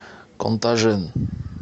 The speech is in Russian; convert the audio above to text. контажен